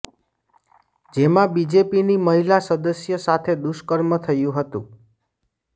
જેમાં બીજેપીની મહિલા સદસ્ય સાથે દુષ્કર્મ થયું હતું